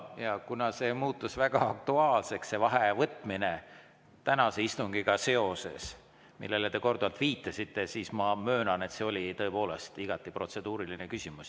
Ja kuna see muutus väga aktuaalseks, see vaheaja võtmine tänase istungiga seoses, millele te korduvalt viitasite, siis ma möönan, et see oli tõepoolest igati protseduuriline küsimus.